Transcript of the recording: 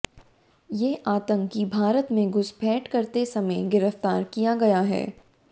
ये आतंकी भारत में घुसपैठ करते समय गिरफ्तार किया गया है